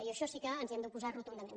i a això sí que ens hi hem d’oposar rotundament